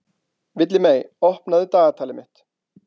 Villimey, opnaðu dagatalið mitt.